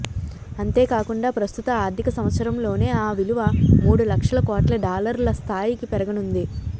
అంతేకాకుండా ప్రస్తుత ఆర్థిక సంవత్సరంలోనే ఆ విలువ మూడు లక్షల కోట్ల డాలర్ల స్థాయికి పెరగనుంది